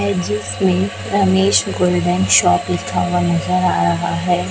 Golden shop लिखा हुआ नजर आ रहा है।